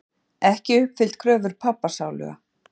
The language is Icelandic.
Ekki uppfyllt kröfur pabba sáluga.